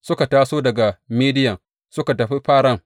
Suka taso daga Midiyan suka tafi Faran.